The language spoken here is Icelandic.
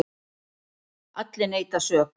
Allir neita sök.